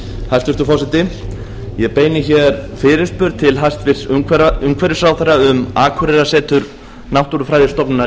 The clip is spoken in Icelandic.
hæstvirtur forseti ég beini hér fyrirspurn til hæstvirts umhverfisráðherra um akureyrarsetur náttúrufræðistofnunar